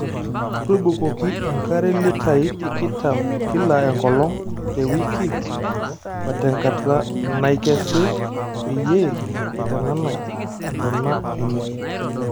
Tubukoki enkare litaii tikitam kila enkolong' te wiki otenkata naikesi peyie eitananai ntona enye.